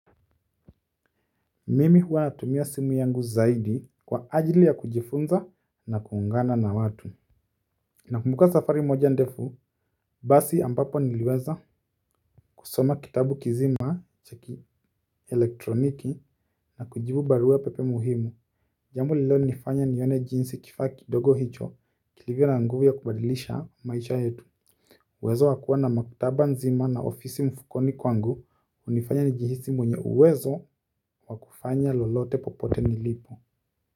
Mimi huwa natumia simu yangu zaidi kwa ajili ya kujifunza na kuungana na watu nakumbuka safari moja ndefu, basi ambapo niliweza kusoma kitabu kizima cha kielektroniki, na kujibu baruapepe muhimu jambo linalonifanya nione jinsi kifaa kidogo hicho kilivyo na nguvu ya kubadilisha maisha yetu uwezo wa kuwa na maktaba nzima na ofisi mfukoni kwangu hunifanya nijihisi mwenye uwezo wa kufanya lolote popote nilipo.